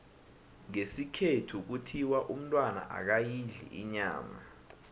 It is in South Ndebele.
ngesikhethu kuthiwa umntwana akayidli inyama